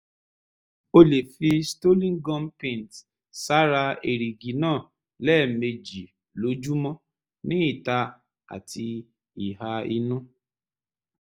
o lè fi stolin gum paint sára èrìgì náà lẹ́ẹ̀mejì lójúmọ́ ní ìta àti ìhà inú